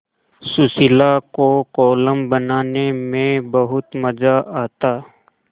सुशीला को कोलम बनाने में बहुत मज़ा आता